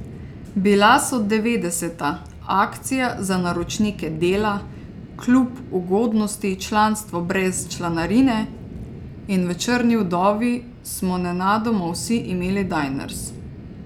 Bila so devetdeseta, akcija za naročnike Dela, klub ugodnosti, članstvo brez članarine in v Črni vdovi smo nenadoma vsi imeli Diners.